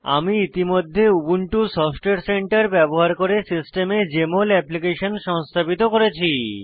আমি ইতিমধ্যে Ubuntu software centre ব্যবহার করে সিস্টেমে জেএমএল অ্যাপ্লিকেশন সংস্থাপিত করেছি